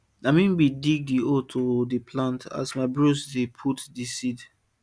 na me bin dig hole to dey plant and my bros dey put di seed